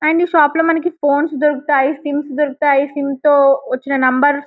and ఈ shop లో మనకి ఫోన్స్ దొరుకుతాయి సిమ్స్ దొరుకుతాయి సిమ్స్ తో వచ్చిన నెంబర్ --